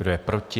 Kdo je proti?